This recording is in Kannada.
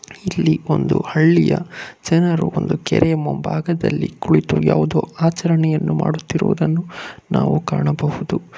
ಇಲ್ಲಿ ಒಂದು ಹಳ್ಳಿಯ ಜನರು ಬಂದು ಕೆರೆಯ ಮುಂಭಾಗದಲ್ಲಿ ಕುಳಿತು ಯಾವುದೋ ಆಚರಣೆಯನ್ನು ಮಾಡುತ್ತಿರುವುದನ್ನು ನಾವು ಕಾಣಬಹುದು.